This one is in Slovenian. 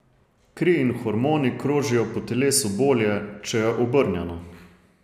Kri in hormoni krožijo po telesu bolje, če je obrnjeno.